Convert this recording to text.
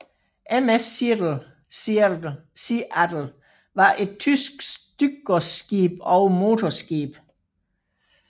MS Seattle var et tysk stykgodsskib og motorskib